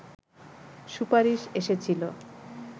সুপারিশ এসেছিল